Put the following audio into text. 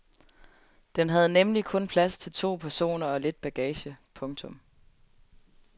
Den havde nemlig kun plads til to personer og lidt bagage. punktum